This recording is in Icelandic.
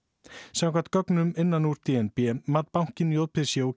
samkvæmt gögnum innan úr d n b mat bankinn j p c og